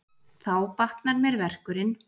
Þá batnar mér verkurinn.